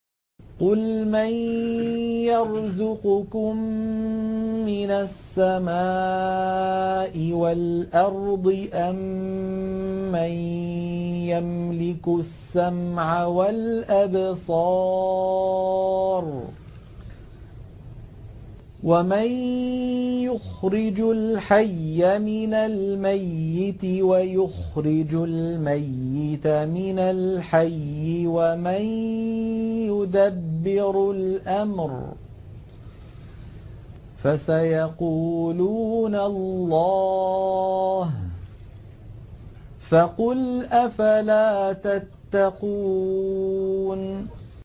قُلْ مَن يَرْزُقُكُم مِّنَ السَّمَاءِ وَالْأَرْضِ أَمَّن يَمْلِكُ السَّمْعَ وَالْأَبْصَارَ وَمَن يُخْرِجُ الْحَيَّ مِنَ الْمَيِّتِ وَيُخْرِجُ الْمَيِّتَ مِنَ الْحَيِّ وَمَن يُدَبِّرُ الْأَمْرَ ۚ فَسَيَقُولُونَ اللَّهُ ۚ فَقُلْ أَفَلَا تَتَّقُونَ